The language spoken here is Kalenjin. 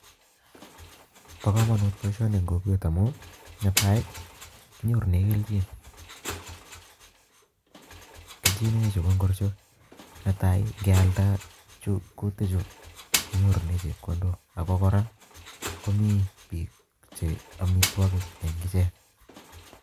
Bo komonut boishoni en kokwet amun netai kinyorunen kelchin, kelchinoik chechwak ko chu, netai ingealda kuutichu kosiche chepkondok, ak kora chu komi biik Che amitwogikchwak